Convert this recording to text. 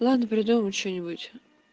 надо придумать что-нибудь